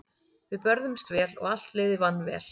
Við börðumst vel og allt liðið vann vel.